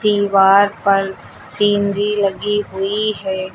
दीवार पर सीनरी लगी हुई है।